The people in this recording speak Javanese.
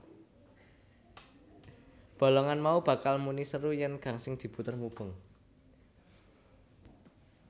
Bolongan mau bakal muni seru yèn gangsing diputer mubeng